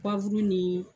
ni